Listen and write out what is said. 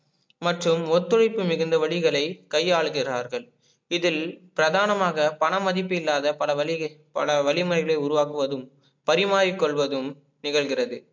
மற்றும் ஒத்துழைப்பு மிகுந்த வழிகளை கையாளுகிறார்கள் இதில் பிராதானமாக பணமதிபில்லாத பல வழி பல வழிமுறைகளை உருவாக்குவதும் பரிமாறிக்கொள்வதும் நிகழ்கிறது